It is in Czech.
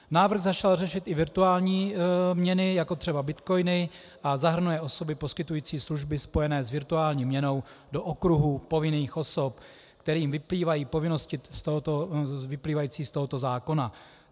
Návrh začal řešit i virtuální měny, jako třeba bitcoiny, a zahrnuje osoby poskytující služby spojené s virtuální měnou do okruhu povinných osob, kterým vyplývají povinnosti vyplývající z tohoto zákona.